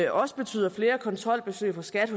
også betyder flere kontrolbesøg fra skats